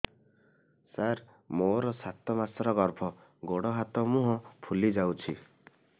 ସାର ମୋର ସାତ ମାସର ଗର୍ଭ ଗୋଡ଼ ହାତ ମୁହଁ ଫୁଲି ଯାଉଛି